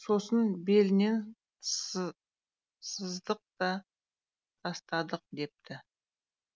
сосын белінен сыздық та тастадық депті